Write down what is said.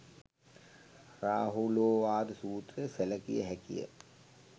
රාහුලෝවාද සූත්‍රය සැළකිය හැකිය.